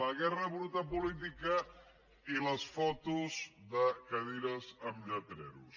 la guerra bruta política i les fotos de cadires amb rètols